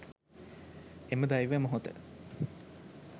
එම දෛව මොහොත